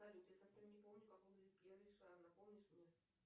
салют я совсем не помню как выглядит пьер ришар напомнишь мне